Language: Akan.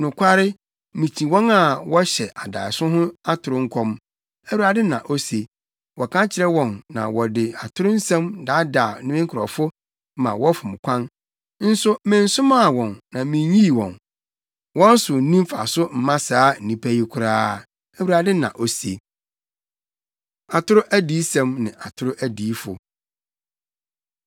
Nokware, mikyi wɔn a wɔhyɛ adaeso ho atoro nkɔm,” Awurade na ose. “Wɔka kyerɛ wɔn na wɔde atoro nsɛm daadaa me nkurɔfo ma wɔfom kwan, nso mensomaa wɔn na minnyii wɔn. Wɔn so nni mfaso mma saa nnipa yi koraa,” Awurade na ose. Atoro Adiyisɛm Ne Atoro Adiyifo